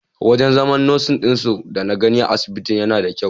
Wajen zaman nasin ɗin dana gani a asibitin yana da kyau.